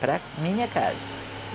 Para a minha casa.